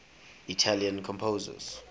italian composers